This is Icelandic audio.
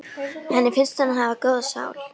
Henni finnst hún hafa góða sál.